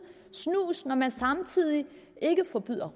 snus når man samtidig ikke forbyder